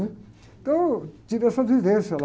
Então, tive essa vivência lá.